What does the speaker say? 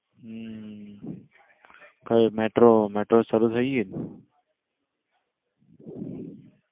હમ કઈ metro metro સારું થઇ ગઈ ને?